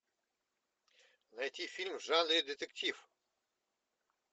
найти фильм в жанре детектив